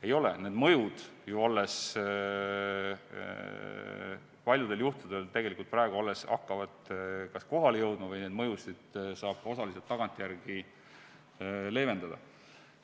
Ei ole, need mõjud ju alles paljudel juhtudel hakkavad kas kohale jõudma või neid mõjusid saab osaliselt tagantjärele leevendada.